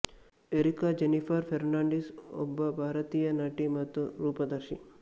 areca Jennifer Fernandes ಒಬ್ಬ ಭಾರತೀಯ ನಟಿ ಮತ್ತು ರೂಪದರ್ಶಿ